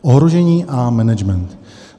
Ohrožení a management.